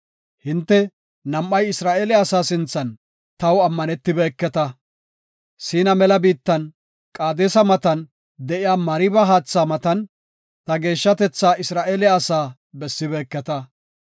Hinte nam7ay Isra7eele asaa sinthan taw ammanetibeketa. Siina mela biittan, Qaadesa matan de7iya Mariba haatha matan ta geeshshatetha Isra7eele asaa bessibeketa.